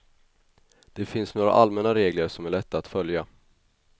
Det finns några allmänna regler som är lätta att följa.